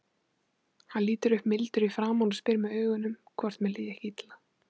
Hann lítur upp mildur í framan og spyr með augunum hvort mér líði ekki illa.